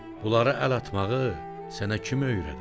Bunlara əl atmağı sənə kim öyrədir?